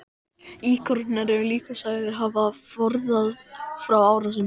Íkonar eru líka sagðir hafa forðað frá árásum.